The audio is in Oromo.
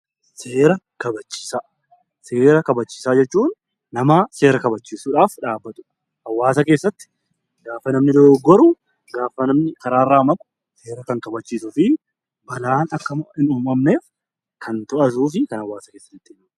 Seera kabachiisaa. Seera kabachiisaa jechuun namaa seera kabachiisuudhaaf dhaabbatudha. Hawaasa keessatti gaafa namni dogoggoru, gaafa namni karaarraa maqu seera kan kabachiisuu fi balaan akka hin uumamneef kan to'atuu fi kan hawaasa keessa deddeebi'udha.